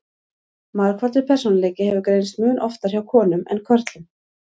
margfaldur persónuleiki hefur greinst mun oftar hjá konum en körlum